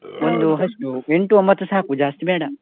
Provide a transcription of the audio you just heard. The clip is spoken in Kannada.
ಎಷ್ಟು ಎಂಟು ಒಂಬತ್ತು ಸಾಕು, ಜಾಸ್ತಿ ಬೇಡ.